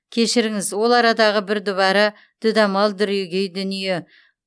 кешіріңіз ол арадағы бір дүбара дүдамал дүрегей дүние